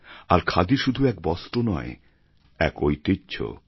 আর খাদি শুধু এক বস্ত্র নয় এক ঐতিহ্য